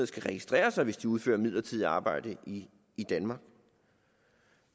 skal registrere sig hvis de udfører midlertidigt arbejde i danmark